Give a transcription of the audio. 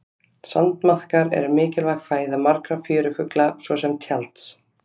Sandmaðkar eru mikilvæg fæða margra fjörufugla svo sem tjalds.